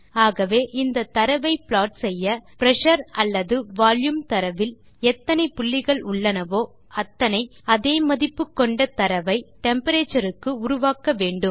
ஆகவே இந்த தரவை ப்ளாட் செய்ய பிரஷர் அல்லது வால்யூம் தரவில் எத்தனை புள்ளிகள் உள்ளனவோ அத்தனை அதே மதிப்பு கொண்ட தரவை டெம்பரேச்சர் க்கு உருவாக்க வேண்டும்